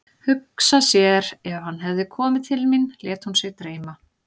Hugsa sér ef hann hefði komið til mín, lét hún sig dreyma.